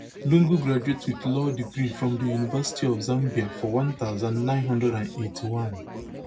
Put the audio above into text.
lungu graduate wit law degree from di university of zambia for one thousand, nine hundred and eighty-one